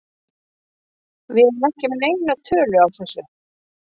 Við erum ekki með neina tölu á þessu.